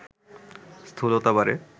স্থূলতা বাড়ে